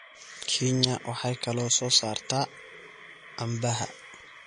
Kenya waxay kaloo soo saartaa canbaha.